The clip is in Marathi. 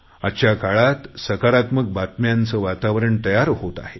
आजच्या काळात सकारात्मक बातम्यांचं वातावरण तयार होत आहे